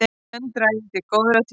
Senn dragi til góðra tíðinda